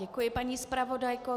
Děkuji paní zpravodajko.